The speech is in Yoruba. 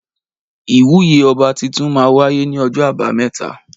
Ìwúyè ọba titun má wàyé ní ojó àbámẹ́ta